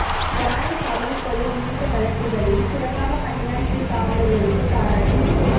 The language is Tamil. யானைகவுனி கொலை உள்ளிட்ட வழக்குகளில் சிறப்பாக பணியாற்றிய காவலர்களுக்கு பாராட்டு